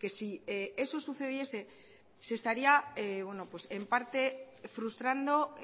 que si eso sucediese se estaría en parte frustrando